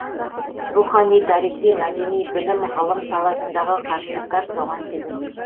рухани тарихи мәдени білім ғылым саласындағы қатынастар соған себеп